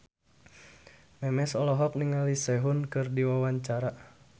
Memes olohok ningali Sehun keur diwawancara